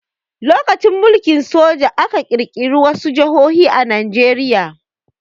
During military rule, some states were created in Nigeria.